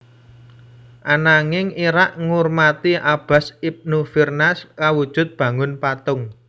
Ananging Irak ngurmati Abbas ibn Firnas kawujud bangun patung